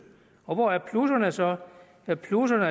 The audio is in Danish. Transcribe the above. og hvor er plusserne så ja plusserne